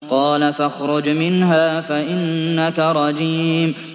قَالَ فَاخْرُجْ مِنْهَا فَإِنَّكَ رَجِيمٌ